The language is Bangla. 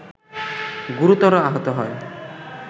গুরুতর আহত হয়